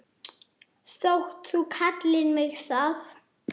þótt þú kallir mig það.